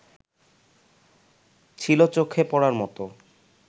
ছিল চোখে পড়ার মতো